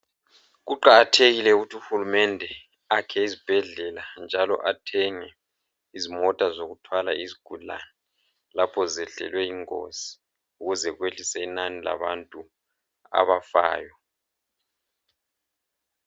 Kuqakathekile ukuthi uhulumende akhe izibhedlela njalo athenge izimota zokuthwala izigulane lapha zehlelwe yingozi ukuze kwehlise inani labantu abafayo.